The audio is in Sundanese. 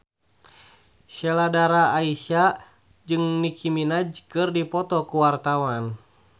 Sheila Dara Aisha jeung Nicky Minaj keur dipoto ku wartawan